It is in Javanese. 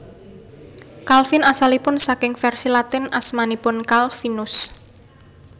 Calvin asalipun saking vèrsi Latin asmanipun Calvinus